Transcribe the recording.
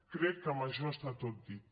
crec que amb això està tot dit